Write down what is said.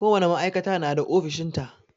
Ko wane ma'aikata na da ofishin ta.